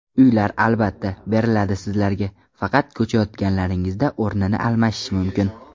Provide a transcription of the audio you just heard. Uylar albatta, beriladi sizlarga, faqat ko‘chayotganlaringizda o‘rni almashishi mumkin.